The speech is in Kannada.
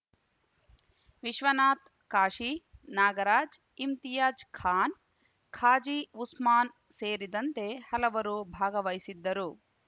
ವಿಶ್ವನಾಥ್‌ ಕಾಶಿ ನಾಗರಾಜ್‌ ಇಮ್ತಿಯಾಜ್‌ ಖಾನ್‌ ಖಾಜಿ ಉಸ್ಮಾನ್‌ ಸೇರಿದಂತೆ ಹಲವರು ಭಾಗವಹಿಸಿದ್ದರು